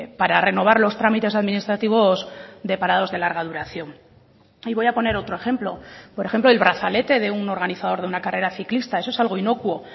para renovar los trámites administrativos de parados de larga duración y voy a poner otro ejemplo por ejemplo el brazalete de un organizador de una carrera ciclista eso es algo inocuo